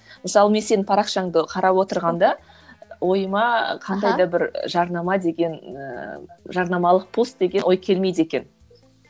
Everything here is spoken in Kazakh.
мысалы мен сенің парақшаңды қарап отырғанда ойыма қандай да бір жарнама деген ыыы жарнамалық пост деген ой келмейді екен